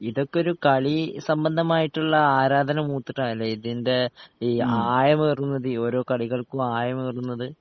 ഇതൊക്കൊരു കളി സംബന്ധമായിട്ട്ള്ള ആരാധന മൂത്ത്ട്ടാല്ലേ ഇതിൻ്റെ ഈ ആഴമേറുന്നത് ഓരോ കളികൾക്കും ആയമേറുന്നത്